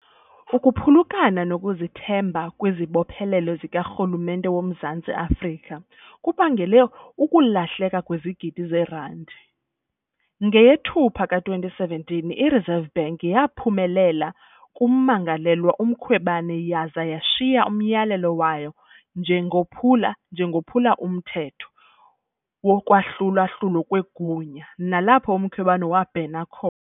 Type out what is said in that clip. Ukuphulukana nokuzithemba kwizibophelelo zikarhulumente woMzantsi Afrika kubangele ukulahleka kwezigidi zeerandi . NgeyeThupha ka-2017 i-Reserve Bank yaphumelela kummangalelwa uMkhwebane yaza yashiya "umyalelo" wayo njengophula njengophula umthetho wokwahlula-hlulwa kwegunya, nalapho uMkhwebane wabhena khona